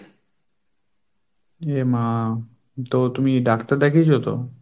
এ মা তো তুমি doctor দেখিয়েছো তো?